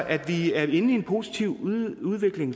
at vi er inde i en positiv udvikling